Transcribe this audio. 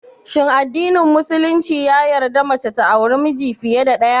Shin addinin musulumci ya yarda mace ta auri miji fiye da ɗaya?